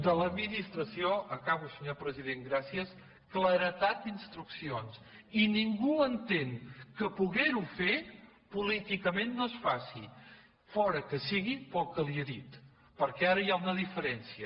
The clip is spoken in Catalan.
de l’administració acabo senyor president gràcies claredat d’instruccions i ningú entén que podent ho fer políticament no es faci fora que sigui pel que li he dit perquè ara hi ha una diferència